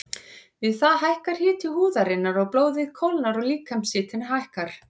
Við það hækkar hiti húðarinnar og blóðið kólnar og líkamshitinn lækkar.